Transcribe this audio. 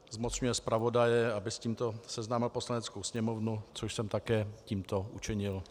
Zmocňuje zpravodaje, aby s tímto seznámil Poslaneckou sněmovnu, což jsem také tímto učinil.